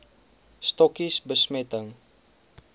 stokkies bemesting